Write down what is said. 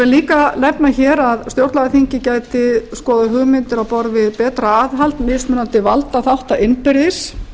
líka nefna hér að stjórnlagaþingið gæti skoðað hugmyndir á borð við betra aðhald mismunandi valdaþátta innbyrðis